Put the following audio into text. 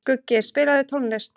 Skuggi, spilaðu tónlist.